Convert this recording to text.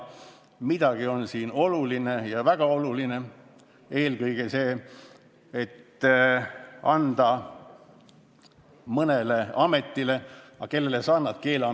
Midagi on siin olulist ja väga olulist, eelkõige see, et anda volitused mõnele ametile – aga kellele sa annad?